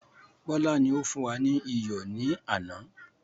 Bọlá ni ó fún wa ní iyọ̀ ni àná.